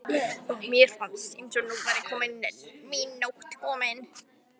og mér fannst eins og nú væri mín nótt komin.